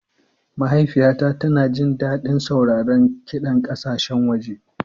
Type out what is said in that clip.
Mahaifiyata tana jin daɗin sauraron kiɗan ƙasashen waje.